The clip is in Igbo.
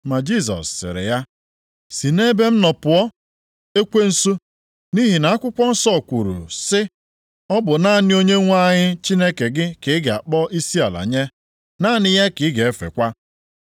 Ma Jisọs sịrị ya, “Si nʼebe m nọ pụọ, ekwensu. Nʼihi na akwụkwọ nsọ kwuru sị, ‘Ọ bụ naanị Onyenwe anyị Chineke gị ka ị ga-akpọ isiala nye, naanị ya ka ị ga-efekwa.’ + 4:10 Nke a dịkwa nʼakwụkwọ \+xt Dit 6:13\+xt*. ”